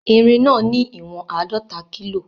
Irin náà ní ìwọ̀n àádọta kílò